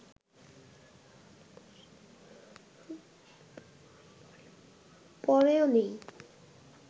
পড়েও নেই